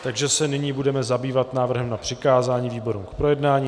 Takže se nyní budeme zabývat návrhem na přikázání výborům k projednání.